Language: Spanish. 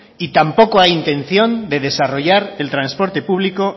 y tampoco hay intención de desarrollar el transporte público